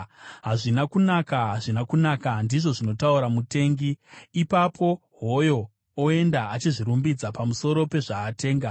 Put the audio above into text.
“Hazvina kunaka, hazvina kunaka!” ndizvo zvinotaura mutengi; ipapo hoyo oenda achizvirumbidza pamusoro pezvaatenga.